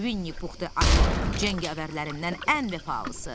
Vinni Pux ayı, cəngavərlərimdən ən vəfalısı.